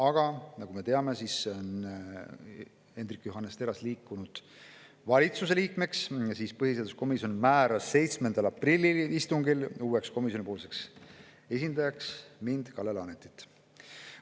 Aga nagu me teame, on Hendrik Johannes Terras liikunud valitsuse liikmeks, seetõttu määras põhiseaduskomisjon 7. aprilli istungil uueks komisjoni esindajaks mind, Kalle Laanetit.